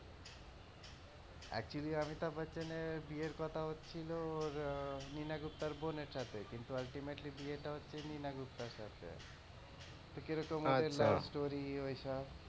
actually Amitabh বচ্চনের বিয়ের কথা হচ্ছিল নীনা গুপ্তার বোনের সাথে কিন্তু ultimately বিয়েটা হচ্ছে নীনা গুপ্তার সাথে কিরকম হচ্ছে love story ওইসব,